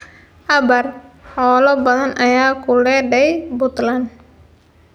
Abaar: Xoolo badan ayaa ku le’day Puntland